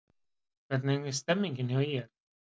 Hvernig er stemningin hjá ÍR?